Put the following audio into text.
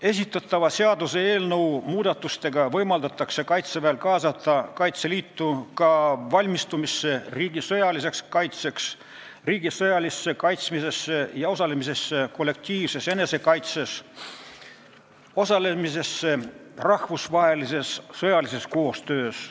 Esitatava seaduseelnõuga võimaldatakse Kaitseväel kaasata Kaitseliitu ka valmistumisse riigi sõjaliseks kaitseks, riigi sõjalisse kaitsmisesse ja osalemisse kollektiivses enesekaitses ning osalemisse rahvusvahelises sõjalises koostöös.